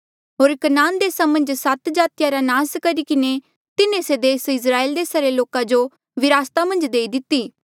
होर कनान देसा मन्झ सात जातिया रा नास करी किन्हें तिन्हें से देस इस्राएल देसा रे लोका जो विरासता मन्झ देई दिती